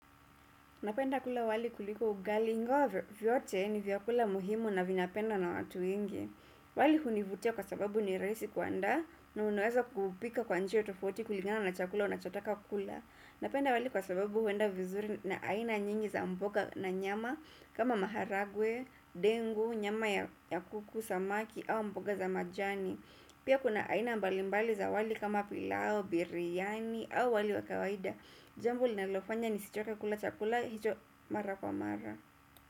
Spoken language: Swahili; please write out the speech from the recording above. Napenda kula wali kuliko ugali ingawa vyote ni vyakula muhimu na vinapendwa na watu wengi. Wali hunivutia kwa sababu ni rahisi kuandaa na unaweza kuupika kwa njia tofauti kulingana na chakula unachotaka kula. Napenda wali kwa sababu huenda vizuri na aina nyingi za mboga na nyama kama maharagwe, dengu, nyama ya kuku, samaki au mboga za majani. Pia kuna aina mbalimbali za wali kama pilau, biriyani au wali wa kawaida. Jambo linalofanya nisichoke kula chakula hicho mara kwa mara.